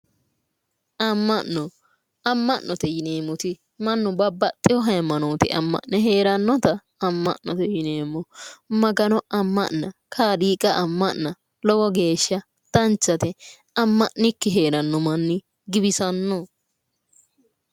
Amma'no amma'note yineemmoti mannu babbaxxewo hayiimanoote amma'ne heerannota amma'noe yineemmo. Magano amma'na kaaliiqa amma'na lowo geeshsha danchate, amma'nikki heeranno manni giwisanno.